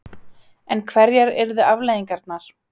En hverjar yrðu afleiðingarnar?